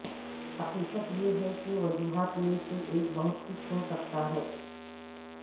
حقیقت یہ ہے کہ وجوہات میں سے ایک بہت کچھ ہو سکتا ہے